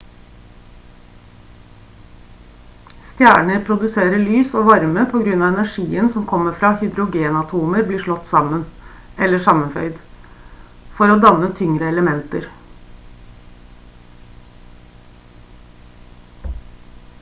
stjerner produserer lys og varme på grunn av energien som kommer fra at hydrogenatomer blir slått sammen eller sammenføyd for å danne tyngre elementer